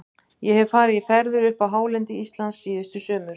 Ég hef farið í ferðir upp á hálendi Íslands síðustu sumur.